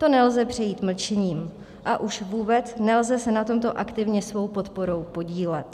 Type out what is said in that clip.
To nelze přejít mlčením, a už vůbec nelze se na tomto aktivně svou podporou podílet.